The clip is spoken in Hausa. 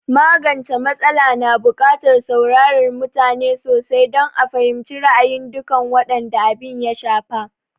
Magance m\atsala na bukatar saurarar mutane sosai don a fahimci ra'ayin dukan waɗanda abin ya shafa